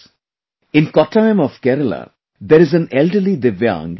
In Kottayam of Kerala there is an elderly divyang, N